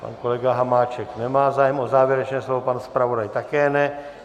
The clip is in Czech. Pan kolega Hamáček nemá zájem o závěrečné slovo, pan zpravodaj také ne.